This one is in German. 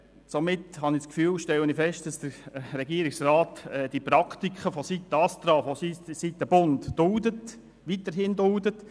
Somit stelle ich fest, dass der Regierungsrat die Praktiken des ASTRA weiterhin duldet.